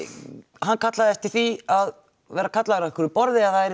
hann kallaði eftir því að vera kallaður að einhverju borði eða